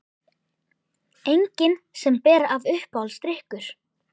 Engin sem ber af Uppáhaldsdrykkur?